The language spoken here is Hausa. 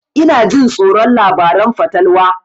Ina jin tsoron labaran fatalwa